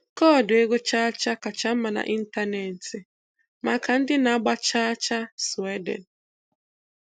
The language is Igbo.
Koodu ego cha cha kacha mma n'ịntanetị maka ndị na-agba chaa chaa Sweden.